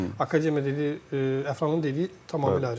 Akademiya dediyi Əfranın dediyi tamamilə ayrıdır.